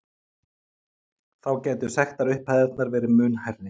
Þá gætu sektarupphæðirnar verði mun hærri